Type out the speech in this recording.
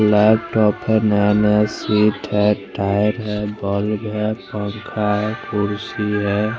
Laptop है नया नया सीट है टायर है बल्ब है पंखा है कुर्सी है।